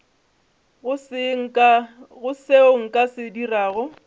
go seo nka se dirago